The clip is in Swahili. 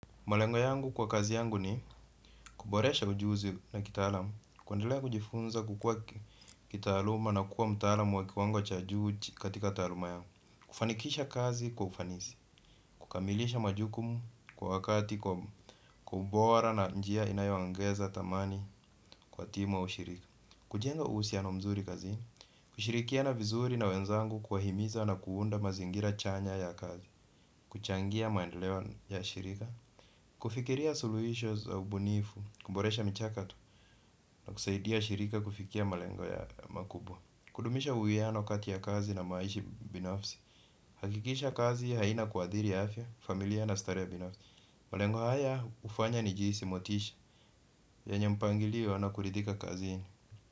Malengo yangu kwa kazi yangu ni kuboresha ujuzi na kitaalamu, kuendelea kujifunza kukua kitaaluma na kuwa mtaalamu wa kiwango cha juu katika taaluma yangu. Kufanikisha kazi kwa ufanisi, kukamilisha majukumu kwa wakati kwa bora na njia inayoongeza thamani kwa timu shirika. Kujenga uhusiano mzuri kazi, kushirikiana vizuri na wenzangu kuwahimiza na kuunda mazingira chanya ya kazi, kuchangia maendeleo ya shirika, kufikiria suluisho za ubunifu, kuboresha michakato na kusaidia shirika kufikia malengo makubwa kuhakikisha kazi haina kuadhiri ya afya, familia na starehe ya binafsi. Malengo haya hufanya nijihisi motisha. Yenye mpangilio na kuridhika kazini.